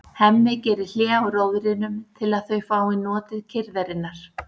Hemmi gerir hlé á róðrinum til að þau fái notið kyrrðarinnar.